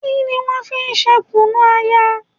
Kí ni wọ́n fi ń ṣe Kùnu-aya?